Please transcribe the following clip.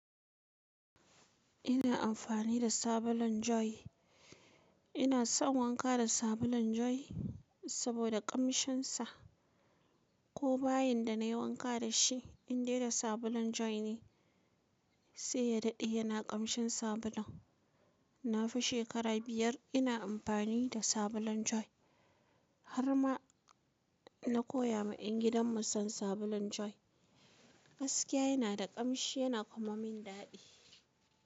Ina amfani da sabulun Joy. Ina son wanka da sabulun Joy saboda ƙamshinsa. Ko bayan da nayi wanka dashi in dai da sabulun Joy ne sai ya dade yana kamshin sabulun. Na fi shekara biyar ina amfani da sabulun Joy. Har ma na koya ma yan gidan mu son sabulun Joy. Gaskiya yana da kamshi yana kuma min dadi.